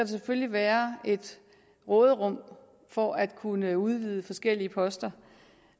selvfølgelig være et råderum for at kunne udvide forskellige poster